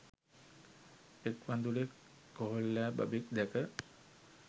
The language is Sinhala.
එක් වඳුරෙක් කොහොල්ලෑ බබෙක් දැක